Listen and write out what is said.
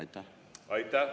Aitäh!